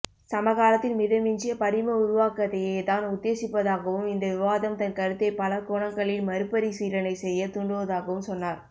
சமகாலத்தின் மிதமிஞ்சிய படிம உருவாக்கத்தையே தான் உத்தேசிப்பதாகவும் இந்த விவாதம் தன் கருத்தை பலகோணங்களில் மறுபரிசீலனை செய்ய தூண்டுவதாகவும் சொன்னார்